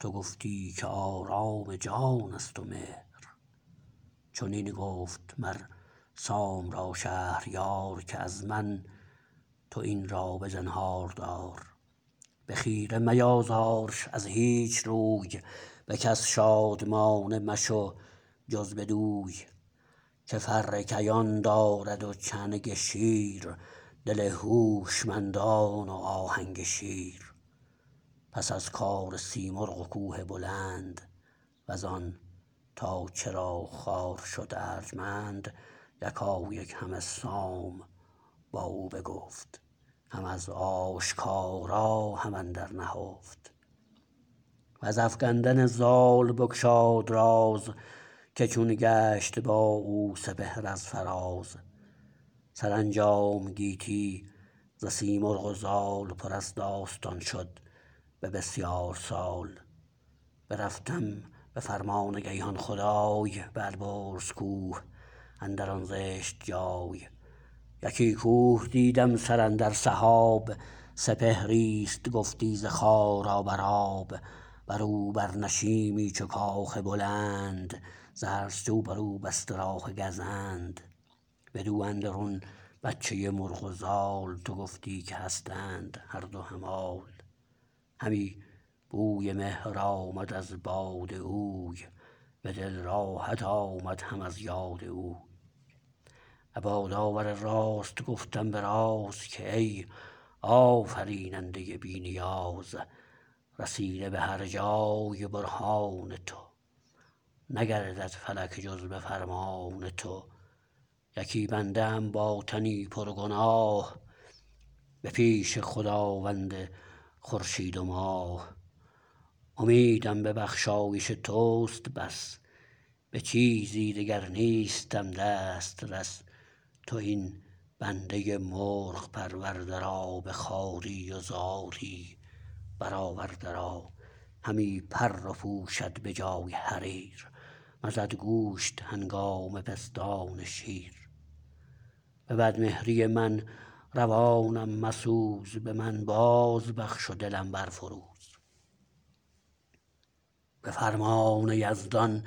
تو گفتی که آرام جان است و مهر چنین گفت مر سام را شهریار که از من تو این را به زنهاردار به خیره میازارش از هیچ روی به کس شادمانه مشو جز بدوی که فر کیان دارد و چنگ شیر دل هوشمندان و آهنگ شیر پس از کار سیمرغ و کوه بلند و زان تا چرا خوار شد ارجمند یکایک همه سام با او بگفت هم از آشکارا هم اندر نهفت و ز افگندن زال بگشاد راز که چون گشت با او سپهر از فراز سرانجام گیتی ز سیمرغ و زال پر از داستان شد به بسیار سال برفتم به فرمان گیهان خدای به البرز کوه اندر آن زشت جای یکی کوه دیدم سر اندر سحاب سپهری است گفتی ز خارا بر آب برو بر نشیمی چو کاخ بلند ز هر سوی بر او بسته راه گزند بدو اندرون بچه مرغ و زال تو گفتی که هستند هر دو همال همی بوی مهر آمد از باد اوی به دل راحت آمد هم از یاد اوی ابا داور راست گفتم به راز که ای آفریننده بی نیاز رسیده به هر جای برهان تو نگردد فلک جز به فرمان تو یکی بنده ام با تنی پر گناه به پیش خداوند خورشید و ماه امیدم به بخشایش تو است بس به چیزی دگر نیستم دسترس تو این بنده مرغ پرورده را به خواری و زاری برآورده را همی پر پوشد به جای حریر مزد گوشت هنگام پستان شیر به بد مهری من روانم مسوز به من باز بخش و دلم بر فروز به فرمان یزدان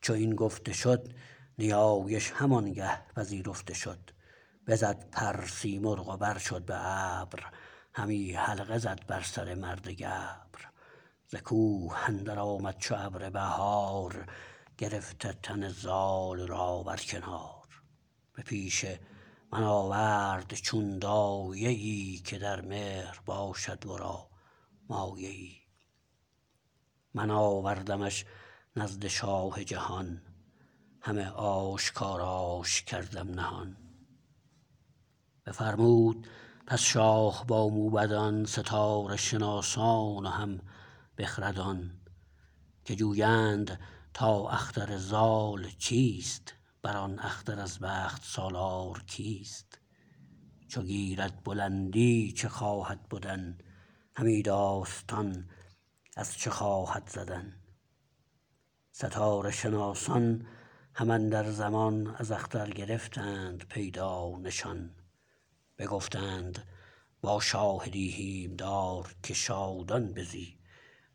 چو این گفته شد نیایش همانگه پذیرفته شد بزد پر سیمرغ و بر شد به ابر همی حلقه زد بر سر مرد گبر ز کوه اندر آمد چو ابر بهار گرفته تن زال را بر کنار به پیش من آورد چون دایه ای که در مهر باشد ورا مایه ای من آوردمش نزد شاه جهان همه آشکاراش کردم نهان بفرمود پس شاه با موبدان ستاره شناسان و هم بخردان که جویند تا اختر زال چیست بر آن اختر از بخت سالار کیست چو گیرد بلندی چه خواهد بدن همی داستان از چه خواهد زدن ستاره شناسان هم اندر زمان از اختر گرفتند پیدا نشان بگفتند با شاه دیهیم دار که شادان بزی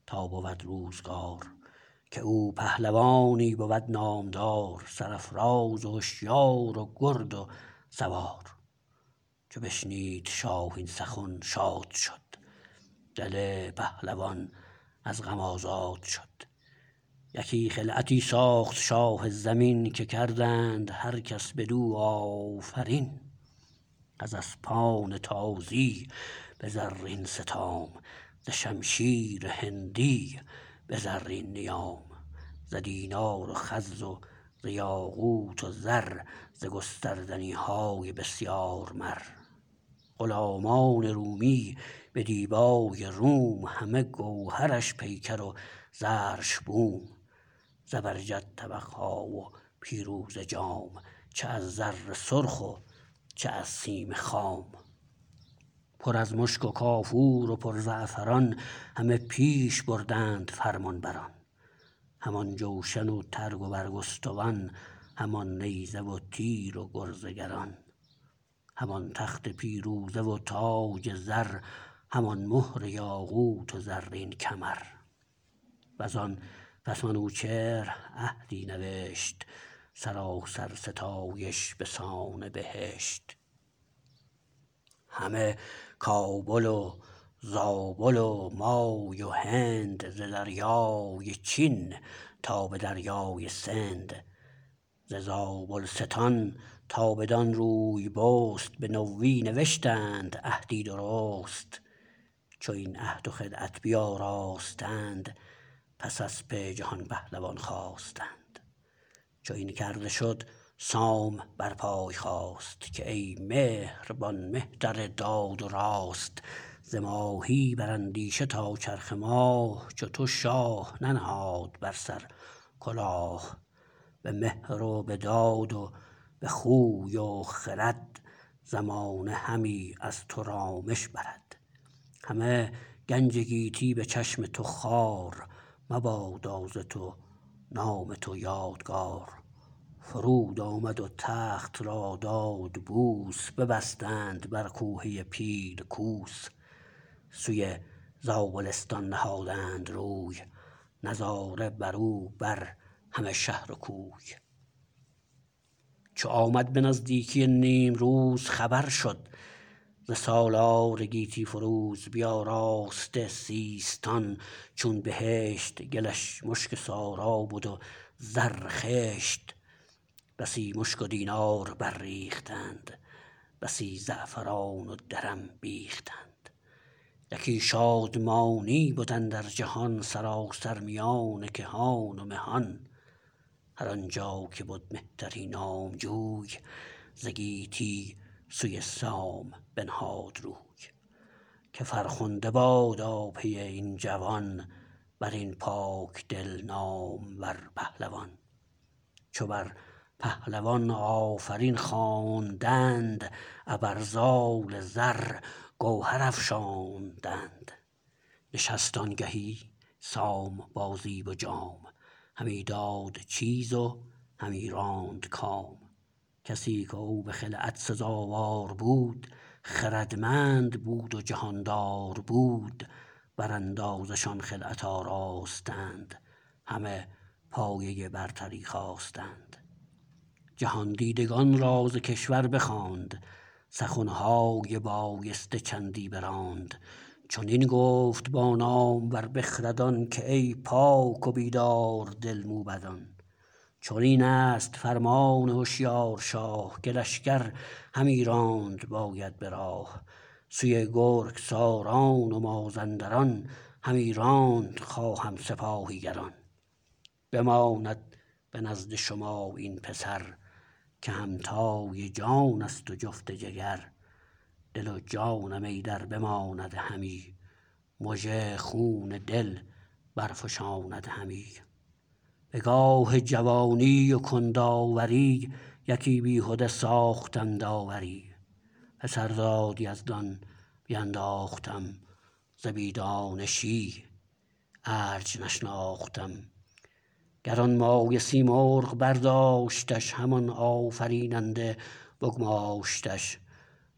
تا بود روزگار که او پهلوانی بود نامدار سرافراز و هشیار و گرد و سوار چو بشنید شاه این سخن شاد شد دل پهلوان از غم آزاد شد یکی خلعتی ساخت شاه زمین که کردند هر کس بدو آفرین از اسپان تازی به زرین ستام ز شمشیر هندی به زرین نیام ز دینار و خز و ز یاقوت و زر ز گستردنی های بسیار مر غلامان رومی به دیبای روم همه گوهرش پیکر و زرش بوم زبرجد طبق ها و پیروزه جام چه از زر سرخ و چه از سیم خام پر از مشک و کافور و پر زعفران همه پیش بردند فرمان بران همان جوشن و ترگ و برگستوان همان نیزه و تیر و گرز گران همان تخت پیروزه و تاج زر همان مهر یاقوت و زرین کمر و زان پس منوچهر عهدی نوشت سراسر ستایش به سان بهشت همه کابل و زابل و مای و هند ز دریای چین تا به دریای سند ز زابلستان تا بدان روی بست به نوی نوشتند عهدی درست چو این عهد و خلعت بیاراستند پس اسپ جهان پهلوان خواستند چو این کرده شد سام بر پای خاست که ای مهربان مهتر داد و راست ز ماهی بر اندیشه تا چرخ ماه چو تو شاه ننهاد بر سر کلاه به مهر و به داد و به خوی و خرد زمانه همی از تو رامش برد همه گنج گیتی به چشم تو خوار مبادا ز تو نام تو یادگار فرود آمد و تخت را داد بوس ببستند بر کوهه پیل کوس سوی زابلستان نهادند روی نظاره بر او بر همه شهر و کوی چو آمد به نزدیکی نیمروز خبر شد ز سالار گیتی فروز بیاراسته سیستان چون بهشت گلش مشک سارا بد و زر خشت بسی مشک و دینار بر ریختند بسی زعفران و درم بیختند یکی شادمانی بد اندر جهان سراسر میان کهان و مهان هر آن جا که بد مهتری نامجوی ز گیتی سوی سام بنهاد روی که فرخنده بادا پی این جوان بر این پاک دل نامور پهلوان چو بر پهلوان آفرین خواندند ابر زال زر گوهر افشاندند نشست آنگهی سام با زیب و جام همی داد چیز و همی راند کام کسی کو به خلعت سزاوار بود خردمند بود و جهاندار بود براندازه شان خلعت آراستند همه پایه برتری خواستند جهاندیدگان را ز کشور بخواند سخن های بایسته چندی براند چنین گفت با نامور بخردان که ای پاک و بیدار دل موبدان چنین است فرمان هشیار شاه که لشکر همی راند باید به راه سوی گرگساران و مازندران همی راند خواهم سپاهی گران بماند به نزد شما این پسر که همتای جان است و جفت جگر دل و جانم ایدر بماند همی مژه خون دل برفشاند همی به گاه جوانی و کند آوری یکی بیهده ساختم داوری پسر داد یزدان بیانداختم ز بی دانشی ارج نشناختم گرانمایه سیمرغ برداشتش همان آفریننده بگماشتش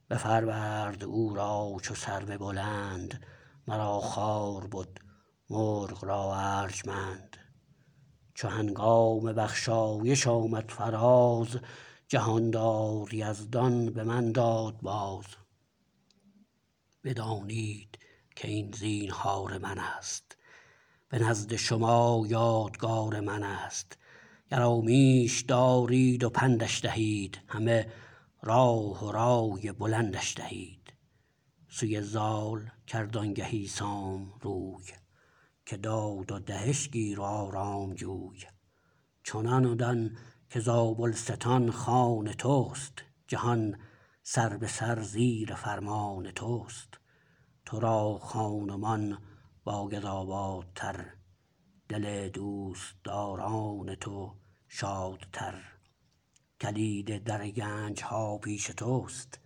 بپرورد او را چو سرو بلند مرا خوار بد مرغ را ارجمند چو هنگام بخشایش آمد فراز جهاندار یزدان به من داد باز بدانید کاین زینهار من است به نزد شما یادگار من است گرامیش دارید و پندش دهید همه راه و رای بلندش دهید سوی زال کرد آنگهی سام روی که داد و دهش گیر و آرام جوی چنان دان که زابلستان خان تست جهان سر به سر زیر فرمان تست تو را خان و مان باید آبادتر دل دوستداران تو شادتر کلید در گنج ها پیش تو است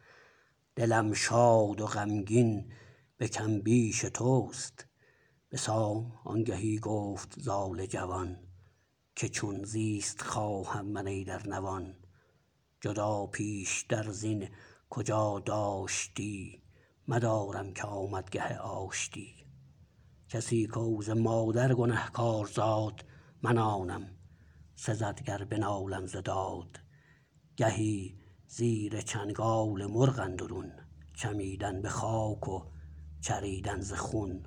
دلم شاد و غمگین به کم بیش تو است به سام آنگهی گفت زال جوان که چون زیست خواهم من ایدر نوان جدا پیش تر زین کجا داشتی مدارم که آمد گه آشتی کسی کو ز مادر گنه کار زاد من آنم سزد گر بنالم ز داد گهی زیر چنگال مرغ اندرون چمیدن به خاک و چریدن ز خون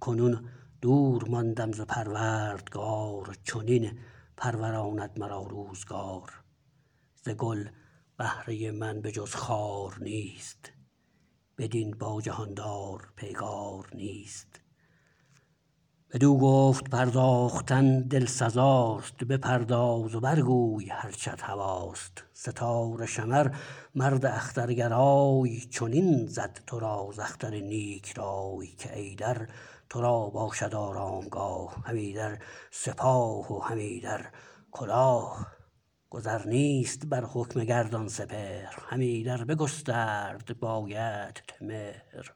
کنون دور ماندم ز پروردگار چنین پروراند مرا روزگار ز گل بهره من به جز خار نیست بدین با جهاندار پیگار نیست بدو گفت پرداختن دل سزاست بپرداز و بر گوی هرچت هواست ستاره شمر مرد اخترگرای چنین زد تو را ز اختر نیک رای که ایدر تو را باشد آرامگاه هم ایدر سپاه و هم ایدر کلاه گذر نیست بر حکم گردان سپهر هم ایدر بگسترد بایدت مهر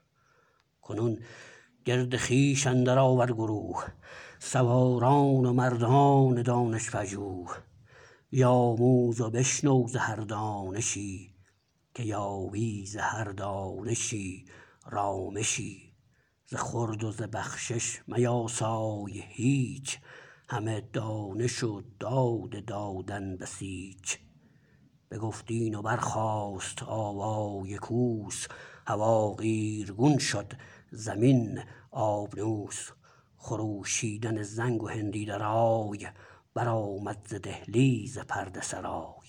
کنون گرد خویش اندر آور گروه سواران و مردان دانش پژوه بیاموز و بشنو ز هر دانشی که یابی ز هر دانشی رامشی ز خورد و ز بخشش میاسای هیچ همه دانش و داد دادن بسیچ بگفت این و برخاست آوای کوس هوا قیرگون شد زمین آبنوس خروشیدن زنگ و هندی درای برآمد ز دهلیز پرده سرای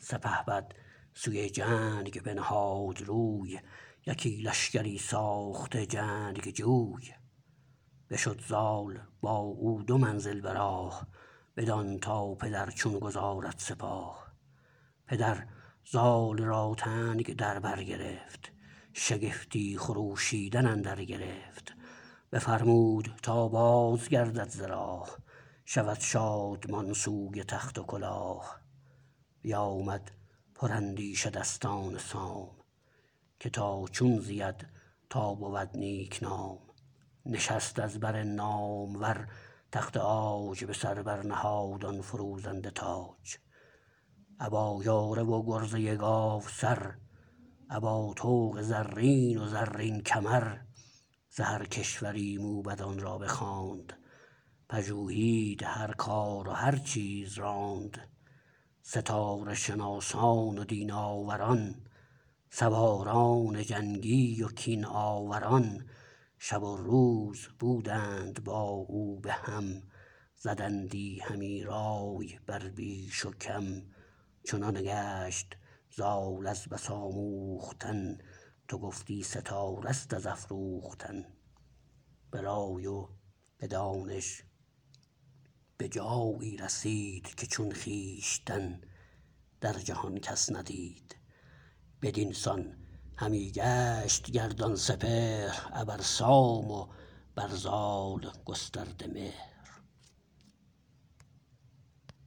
سپهبد سوی جنگ بنهاد روی یکی لشکری ساخته جنگجوی بشد زال با او دو منزل به راه بدان تا پدر چون گذارد سپاه پدر زال را تنگ در برگرفت شگفتی خروشیدن اندر گرفت بفرمود تا بازگردد ز راه شود شادمان سوی تخت و کلاه بیامد پر اندیشه دستان سام که تا چون زید تا بود نیک نام نشست از بر نامور تخت عاج به سر بر نهاد آن فروزنده تاج ابا یاره و گرزه گاو سر ابا طوق زرین و زرین کمر ز هر کشوری موبدان را بخواند پژوهید هر کار و هر چیز راند ستاره شناسان و دین آوران سواران جنگی و کین آوران شب و روز بودند با او به هم زدندی همی رای بر بیش و کم چنان گشت زال از بس آموختن تو گفتی ستاره است از افروختن به رای و به دانش به جایی رسید که چون خویشتن در جهان کس ندید بدین سان همی گشت گردان سپهر ابر سام و بر زال گسترده مهر